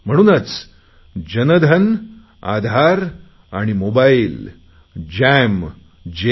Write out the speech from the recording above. म्हणूनच जनधन आधारमोबाईलजॅम जे